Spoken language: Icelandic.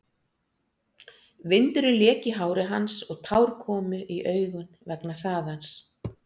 Vindurinn lék í hári hans og tár komu í augun vegna hraðans.